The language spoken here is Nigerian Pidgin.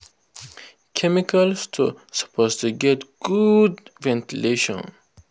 chemical store suppose get good ventilation.